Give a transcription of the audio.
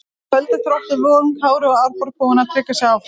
Í kvöld eru Þróttur Vogum, Kári og Árborg búin að tryggja sig áfram.